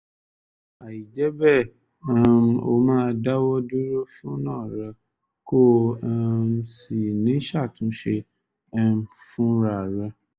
àìjẹ́ bẹ́ẹ̀ um ó máa dáwọ́ dúró fúna rẹ̀ kò um sì ní ṣàtúnṣe um fúnra rẹ̀